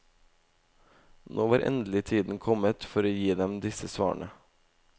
Nå var endelig tiden kommet for å gi dem disse svarene.